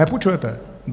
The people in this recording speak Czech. Nepůjčujete.